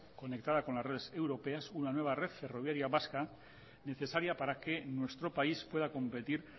conectada con las redes europeas una nueva red ferroviaria vasca necesaria para que nuestro país pueda competir